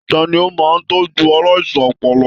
Tani o máa n tọjú aláìsàn ọpọlọ?